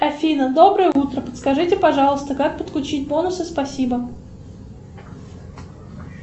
афина доброе утро подскажите пожалуйста как подключить бонусы спасибо